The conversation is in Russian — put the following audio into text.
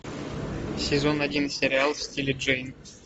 сезон один сериал в стиле джейн